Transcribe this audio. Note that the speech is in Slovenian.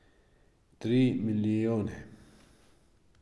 Tri milijone.